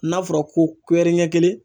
N'a fɔra ko ɲɛ kelen